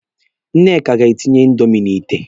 Nneka ga-etinye indomi n'ìtè.